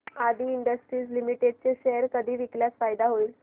आदी Industries Limited चे share कधी विकल्यास फायदा होईल